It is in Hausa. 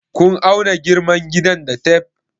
Kun auna girman gidan da tef?